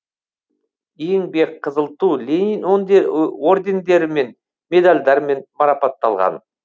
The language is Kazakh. еңбек қызыл ту ленин ордендері мен медальдармен марапатталған